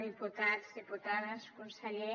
diputats diputades conseller